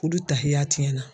Olu tahiya tiɲɛna.